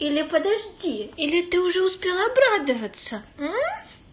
или подожди или ты уже успела обрадоваться у